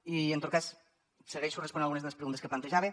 i en tot cas segueixo responent algunes de les preguntes que plantejava